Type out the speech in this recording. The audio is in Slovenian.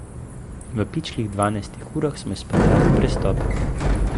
V pičlih dvanajstih urah smo izpeljali prestop.